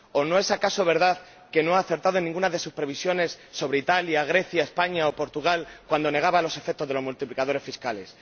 ¿O no es acaso verdad que no ha acertado en ninguna de sus previsiones sobre Italia, Grecia, España o Portugal, cuando negaba los efectos de los multiplicadores fiscales?